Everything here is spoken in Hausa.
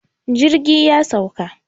jirgi ya sauka